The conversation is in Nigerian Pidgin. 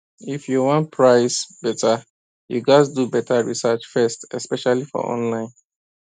if you wan price better you gats do better research first especially for online